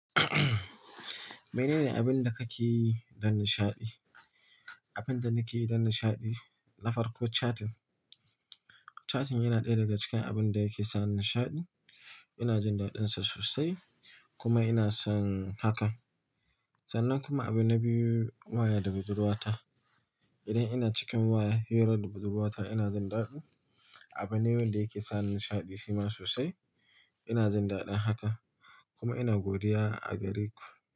Menene abin da kake yi don nishaɗi? Abin da nake yi don nishaɗi na farko chatting. Chatting yana ɗaya daga cikin abun da yake sa ni nishaɗi. Ina jin daɗinsa sosai kuma ina son haka. Sannan kuma abin na biyu waya da budurwa ta. Idan ina cikin waya nu da budurwata ina jin daɗi. Abune wanda yake sa nishaɗi shi ma sosai. Ina jin daɗin haka kuma ina godiya a gare ku.